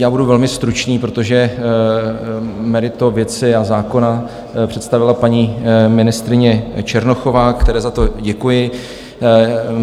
Já budu velmi stručný, protože meritum věci a zákona představila paní ministryně Černochová, které za to děkuji.